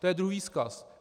To je druhý vzkaz.